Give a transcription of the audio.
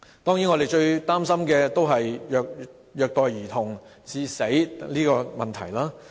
當然，我們最擔心的是虐待兒童致死的問題。